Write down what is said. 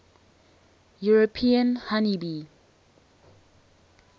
european honey bee